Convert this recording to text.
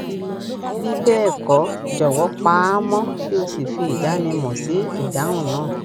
bí bẹẹ kọ jọwọ pa á mọ kí o sì fi ìdánimọ sí ìdáhùn náà